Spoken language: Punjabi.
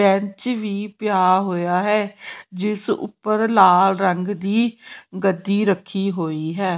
ਬੈਂਚ ਵੀ ਪਿਆ ਹੋਇਆ ਹੈ ਜਿਸ ਉਪਰ ਲਾਲ ਰੰਗ ਦੀ ਗੱਦੀ ਰੱਖੀ ਹੋਈ ਹੈ।